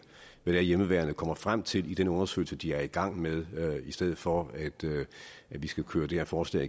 hvad hjemmeværnet kommer frem til i den undersøgelse de er i gang med i stedet for at vi skal køre det her forslag